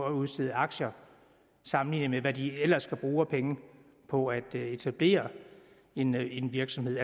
at udstede aktier sammenlignet med hvad de ellers skal bruge af penge på at etablere en en virksomhed